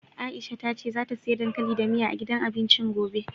Aisha ta ce zata siya dankali da miya, a gidan abincin gobe.